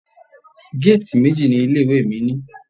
Géètì méjì ni ilé ìwé mi ní.